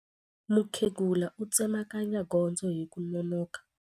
Mukhegula u tsemakanya gondzo hi ku nonoka.